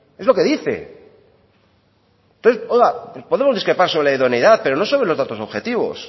es lo que dice oiga podemos discrepar sobre idoneidad pero no sobre los datos objetivos